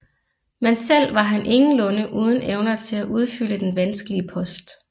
Men selv var han ingenlunde uden evner til at udfylde den vanskelige post